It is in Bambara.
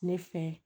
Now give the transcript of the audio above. Ne fɛ